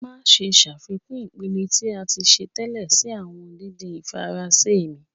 Maṣe ṣafikun ipẹtẹ ti a ti ṣe tẹlẹ si awọn didin Faranse mi.